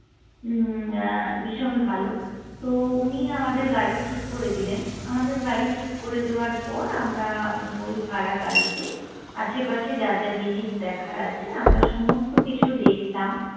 উম্ম ভীষণ ভালো তো উনি আমাদের গাড়ি ঠিক করে দিলেন। আমাদের গাড়ি ঠিক করে দেওয়ার পর আমরা ওই ভাড়া গাড়িতে আশেপাশে যা যা জিনিস দেখার আছে আমরা সমস্ত কিছু দেখলাম,